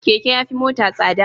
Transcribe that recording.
Keke yafi mota tsada